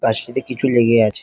তার সাথে কিছু লেগে আছে।